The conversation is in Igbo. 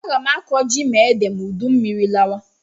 Aga m akọ ji na ede ma udummiri lawa